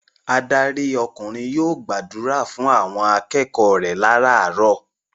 Adarí ọkùnrin yóò gbàdúrà fún àwọn akẹgbẹ́ rẹ láràárọ̀.